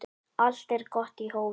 Allt er gott í hófi